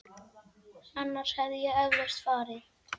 Annars hefði ég eflaust farið.